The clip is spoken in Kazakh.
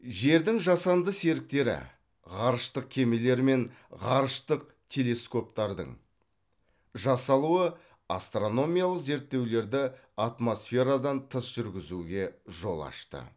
жердің жасанды серіктері ғарыштық кемелер мен ғарыштық телескоптардың жасалуы астрономиялық зерттеулерді атмосферадан тыс жүргізуге жол ашты